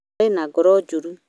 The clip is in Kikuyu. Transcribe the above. arĩ na ngoro njũru